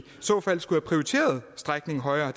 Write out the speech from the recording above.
så fald skulle have prioriteret strækningen højere